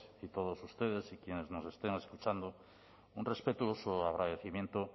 y todos ustedes quienes nos estén escuchando un respetuoso agradecimiento